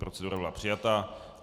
Procedura byla přijata.